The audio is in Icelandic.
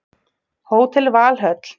Hótel Valhöll